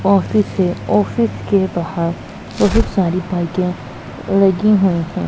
Office है office के बाहर बहोत सारी बाइके लगी हुई है।